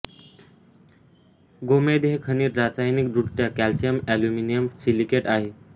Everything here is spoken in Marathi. गोमेद हे खनिज रासायनिकदृष्ट्या कॅल्शियम एल्युमिनियम सिलिकेट आहे